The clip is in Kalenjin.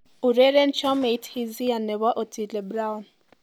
Ureren chomeit Hisia nebo Otile Brown